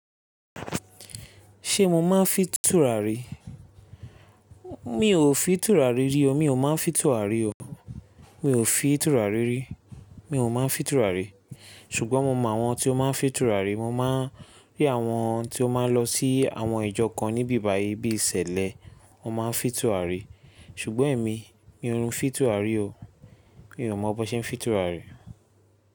Ṣé mo máa ń fin túràrí? Mi ò fin túràrí rí o. Mi ò máa ń fi túrà rí o. Mi ò fi túrà rí rí. Mi ò máa ń fi túrà rí. Ṣùgbọ́n mo mọ àwọn tí ó máa ń fi túrà rí. Mo máa ń rí àwọn tí ó máa ń lọ sí àwọn ìjọ kan ní ibi bàyìí bíi ṣẹ̀lẹ̀, wọ́n máa ń fin túràrí. Ṣùgbọ́n èmi, mi ò n fin túràrí o. Mi ò mọ̀ bọ́n ṣe ń fin túràrí.